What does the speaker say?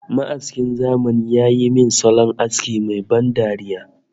Ma'askin zamani ya yi min salon aski mai ban dariya